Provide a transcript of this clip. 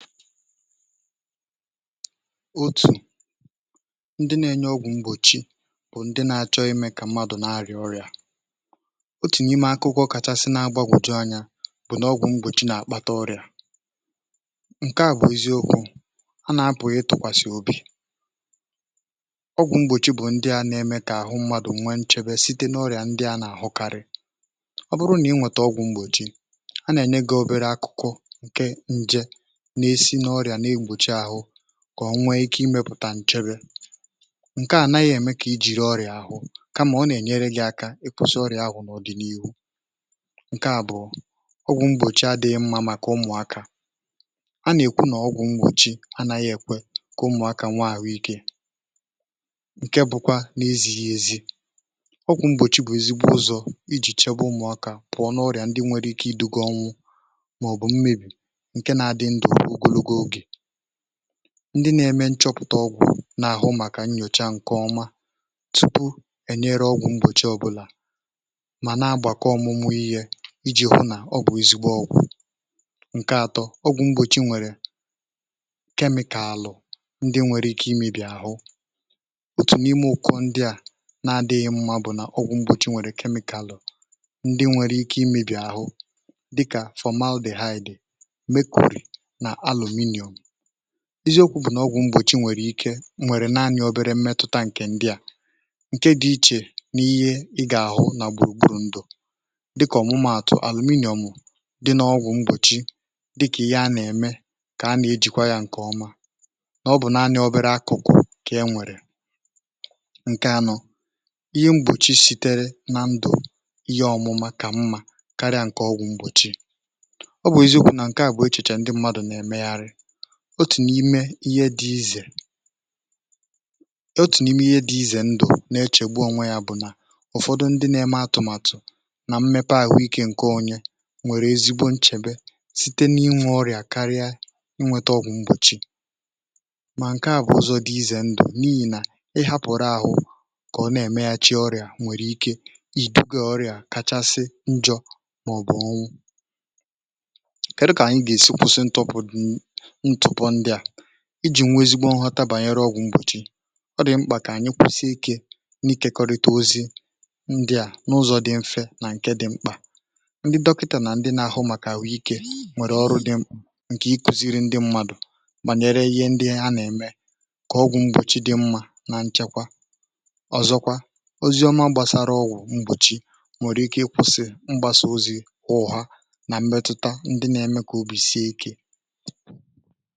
Otù ndị nȧ-enye ọgwụ̀ mgbochi bụ̀ ndị nȧ-achọ imė kà mmadụ nȧ-arịà ọrịà. Otù n’ime akụkọ̇ kachasị na-agbagwòju ányá bụ̀ nà ọgwụ̀ mgbochi nà-àkpata ọrịà ǹke à bụ̀ eziokwu̇ anà a pụghị ịtụ̀kwàsị̀ obì. Ọgwụ̀ mgbochi bụ̀ ndị à na-eme kà àhụ mmadụ nwe nchebe site n’ọrịà ndị à nà-àhụkarị ọ bụrụ nà ị nwète ọgwụ̀ mgbochi a nà-ène gị obere akụkụ ǹke nje nà esi nà oria nà egbochi áhụ kà ọ nwee ike imėpụ̀tà nchebė ǹke ànaghị̇ ème kà i jìri ọrị̀à àhụ kama ọ nà-ènyere gị̇ ȧkȧ ị kwusi ọrị̀à ahụ̀ nà ọ̀dị̀niihu. Nkè àbụ̀ọ ọgwụ̇ mgbòchi adị̇ghị̇ mmȧ màkà ụmụ̀akȧ, a nà-èkwu nà ọgwụ̇ mgbòchi anȧghị̇ èkwe kà ụmụ̀akȧ nwé ahụikè ǹke bụkwa n’ezighi èzi. Ọgwụ̀ mgbòchi bụ̀ ezigbo ụzọ̇ ijì chebe ụmụ̀akȧ pụ̀ọ n’ọrìà ndị nwere ike iduga ọnwụ maọbu mmebi nkè nà adị ndụ ruo nà ogologo ógè. Ndị na-eme nchọpụ̀ta ọgwụ̀ na-àhụ màkà nnyòcha nke ọma tupu ènyere ọgwụ̀ mgbòchi ọbụlà mana agbàkọ ọmụmụ ihé iji hụ nà ọwụ ezigbo ọgwụ̀. Nkè atọ, ọgwụ̀ mgbòchi nwèrè kemịkàlụ̀ ndị nwere ike imėbì àhụ. Otù n’ime ụkọ ndị à na-adịghị mma bụ̀ na ọgwụ̀ mgbòchi nwèrè kemịkàlụ̀ ndị nwere ike imėbì àhụ dịkà formal dị haịdị̀, mecury nà alụminum. Eziokwu bụ̀ n’ọgwụ̀ mgbochi nwèrè ike nwèrè nanị obere mmetụta ǹkè ndị à ǹke dị̇ ichè n’ihé ị gà-àhụ nà gbùrùgburù ndụ̀ dịkà ọ̀mụma àtụ, alụminum dị n’ọgwụ̀ mgbochi dịkà ihé a nà-ème kà a nà-ejìkwa ya ǹkè ọma nà ọ bụ̀ naanị̇ obere akụ̀kụ̀ kà e nwèrè. Nkè anọ̀, ihé mgbochi sitere na ndụ ihé ọmụma kà mmȧ karịa ǹkè ọgwụ̀ mgbochi. Ọ bụ̀ eziokwu nà ǹke a bụ echichè ndị mmadụ̀ nà ème yarị otù n’ime ihé dị izè otù n’ime ihé dị izè ndụ̀ na-echègbu onwe yá bụ̀ nà ụ̀fọdụ ndị nȧ-ėme atụ̀màtụ̀ nà mmepe àhụ ikė nke onye nwèrè ezigbo nchèbe site n’inwe ọrịà karịa i nwėtȧ ọgwụ mgbòchi mà, nke à bụ̀ ụzọ dị izè ndụ̀ n’ihì nà ị hȧpụ̀rụ̇ àhụ kà ọ na-èmaghachi ọrịà nwèrè ike ị̀ dugȧ ọrịà kachasị njọ̇ màọ̀bụ̀ ọnwụ. kèdụ kà ànyị gà-èsi kwụsị ntọpọ di ntụpọ ndị a iji̇ nwe ezigbo nghọta bànyere ọgwụ̀ mgbòchi?. Ọ dị̀ mkpà kà ànyị kwụ̀sị ikė n’ikė kọrịta ozi ndị à n’ụzọ̇ dị mfe nà ǹke dị mkpà ndị dọkịtà nà ndị n’àhụ màkà àhụike nwèrè ọrụ dị mkpà ǹkè ikùziri ndị mmadụ̀ bànyere ihé ndị ha nà-ème kà ọgwụ̀ mgbòchi dị mmȧ na nchekwa. Ọ̀zọkwa, ozi ọma gbàsara ọgwụ̀ mgbòchi nwèrè ike ịkwụ̇sị̇ mgbàsà ozi̇ ọ̀hà nà mmetuta ndị nà-ème kà obì sie ikė.